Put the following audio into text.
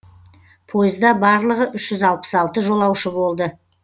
пойызда барлығы үш жүз алпыс алты жолаушы болды